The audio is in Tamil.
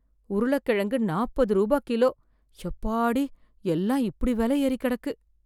உருள கிழங்கு நாப்பது ரூபா கிலோ, எப்பாடி எல்லாம் இப்படி விலை ஏறி கெடக்கு.